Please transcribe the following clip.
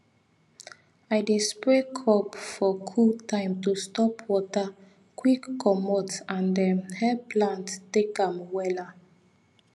i dey spray crop for cool time to stop water quick comot and um help plant take am well um